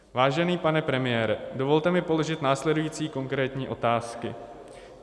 Vážený pane premiére, dovolte mi položil následující konkrétní otázky.